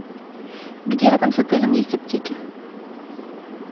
где рядом с отелем есть аптеки